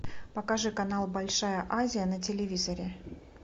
покажи канал большая азия на телевизоре